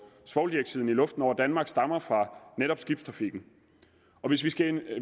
svovldioxiden i luften over danmark stammer fra netop skibstrafikken